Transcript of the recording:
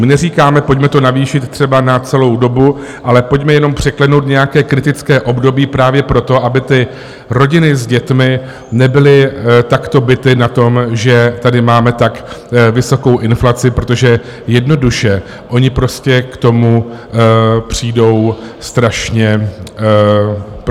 My neříkáme, pojďme to navýšit třeba na celou dobu, ale pojďme jenom překlenout nějaké kritické období, právě proto, aby ty rodiny s dětmi nebyly takto bity na tom, že tady máme tak vysokou inflaci, protože jednoduše oni prostě k tomu přijdou strašně biti.